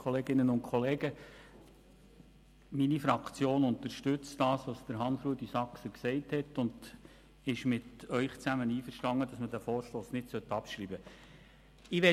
Meine Fraktion unterstützt, was Grossrat Saxer gesagt hat und ist mit ihm einverstanden, dass man diesen Vorstoss nicht abschreiben soll.